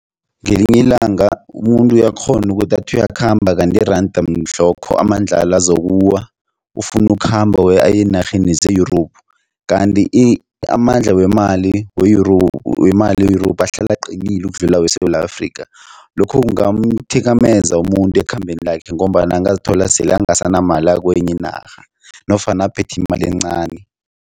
Ngelinye ilanga umuntu uyakghona ukuthi athi uyakhamba kanti iranda mhlokho amandlalo azokuwa. Ufuna ukukhamba aye eenarheni ze-Europe kanti amandla wemali we-Europe wemali ye-Europe ahlala aqinile ukudlula weSewula Afrika. Lokhu kungamthikameza umuntu ekhambeni lakhe ngombana angazithola sele ungasanamali akwenye inarha nofana aphethe imali encani.